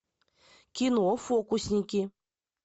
кино фокусники